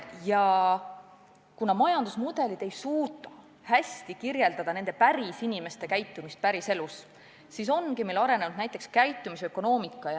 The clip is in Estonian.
Ja kuna majandusmudelid ei suuda hästi arvesse võtta nende pärisinimeste käitumist päriselus, siis ongi meil arenema hakanud näiteks käitumisökonoomika.